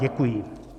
Děkuji.